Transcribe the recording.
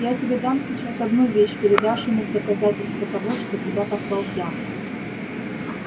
я тебе дам сейчас одну вещь передашь ему в доказательство того что тебя послал я